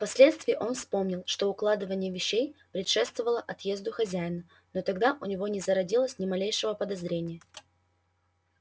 впоследствии он вспомнил что укладывание вещей предшествовало отъезду хозяина но тогда у него не зародилось ни малейшего подозрения